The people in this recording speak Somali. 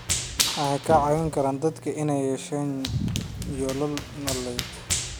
Waxay ka caawin karaan dadka inay yeeshaan yoolal nololeed.